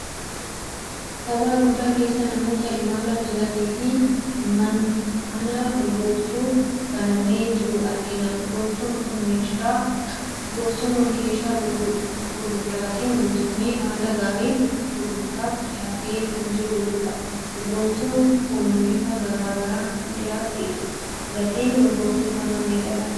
Gabaa guddaa keessa namoota imalaa jiraniifi mana urgooftuu banamee jiru arginaa. Urgooftuun kun keeshaa gurguddaatti guutamee haala gaariin gurgurttaaf dhiyaatee kan jiru dha. Urgooftuun kun bifa garaagaraan kan dhiyaate dha. Gatiin urgooftuu kanaa meeqa dha ?